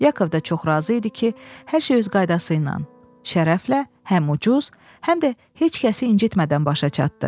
Yakov da çox razı idi ki, hər şey öz qaydası ilə, şərəflə, həm ucuz, həm də heç kəsi incitmədən başa çatdı.